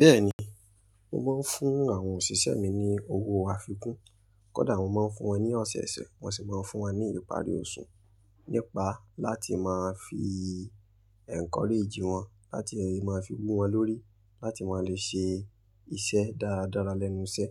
Bẹ́ẹ̀ ni, mo máa ń fún àwọn òṣìṣẹ́ mi ní owó àfikún. Kódà mo máa ń fún wọn ní ọ̀sọ̀ọ̀sẹ̀, wọ́n sì máa ń fún wa ní ìparí oṣù. Nípa láti máa fi encourage wọn, láti máa fi wu wọn lórí, láti máa le ṣe iṣẹ́ dáradára lẹ́nu iṣẹ́.